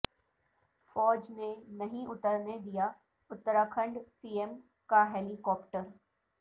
فوج نے نہیں اترنے دیا اتراکھنڈ سی ایم کا ہیلی کاپٹر